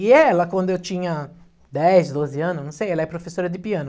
E ela, quando eu tinha dez, doze anos, não sei, ela é professora de piano.